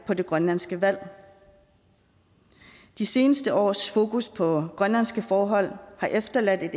på det grønlandske valg de seneste års fokus på grønlandske forhold har efterladt